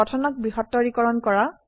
গঠনক বৃহত্তৰীকৰণ কৰা